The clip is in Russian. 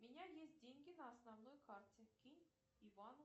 у меня есть деньги на основной карте кинь ивану